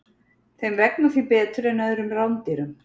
Þeim vegnar því betur en öðrum rándýrum.